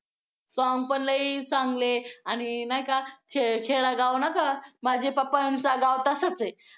song पण लई चांगले आणि नाही का खेडेगाव नाही का माझे पप्पांचा गाव तसाच आहे.